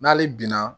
N'ale binna